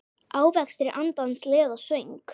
Ávextir andans leiða söng.